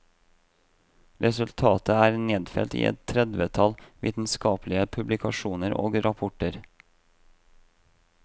Resultatet er nedfelt i et tredvetall vitenskapelige publikasjoner og rapporter.